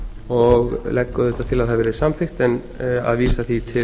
og legg auðvitað til að það verði samþykkt en að vísa því til